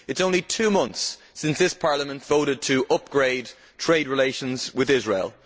It is only two months since this Parliament voted to upgrade trade relations with Israel.